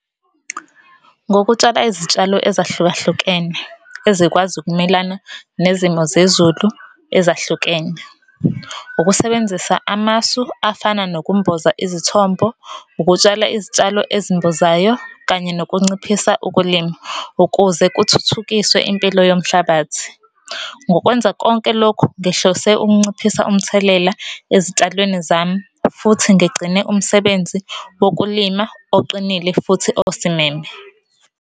Ngokutshala izitshalo ezahlukahlukene ezikwazi ukumelana nezimo zezulu ezahlukene. Ukusebenzisa amasu afana nokumboza izithombo, ukutshala, izitshalo ezimbozayo kanye nokunciphisa ukulima, ukuze kuthuthukiswe impilo yomhlabathi. Ngokwenza konke lokhu ngihlose ukunciphisa umthelela ezitshalweni zami futhi ngigcine umsebenzi wokulima oqinile futhi osimeme.